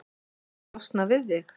Losna við þig?